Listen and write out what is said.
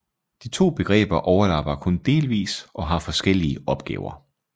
De to begreber overlapper kun delvis og har forskellige opgaver